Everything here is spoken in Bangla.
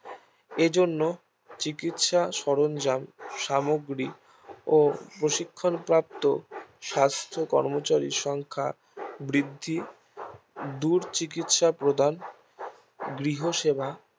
এজন্য চিকিৎসার সরঞ্জাম সামগ্রী ও প্রশিক্ষণ প্রাপ্ত স্বাস্থ্য কর্মচারীর সংখ্যা বৃদ্ধি দূর চিকিৎসা প্রদান গৃহ সেবা